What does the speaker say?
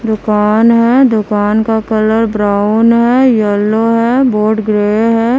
दुकान है दुकान का कलर ब्राउन है येलो है बोर्ड ग्रे है।